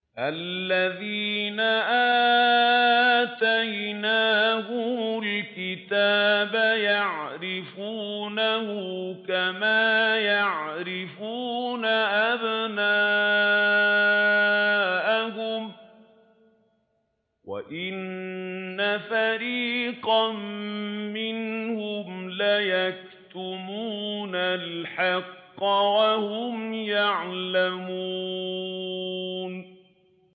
الَّذِينَ آتَيْنَاهُمُ الْكِتَابَ يَعْرِفُونَهُ كَمَا يَعْرِفُونَ أَبْنَاءَهُمْ ۖ وَإِنَّ فَرِيقًا مِّنْهُمْ لَيَكْتُمُونَ الْحَقَّ وَهُمْ يَعْلَمُونَ